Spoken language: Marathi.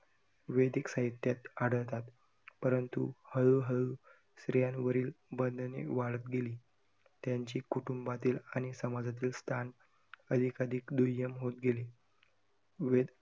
वेदिक साहित्यात आढळतात, परंतु हळू-हळू स्त्रियांवरील बंधने वाढत गेली, त्यांची कुटुंबातील आणि समाजातील स्थान अधिक अधिक दुय्यम होत गेली. वेदीक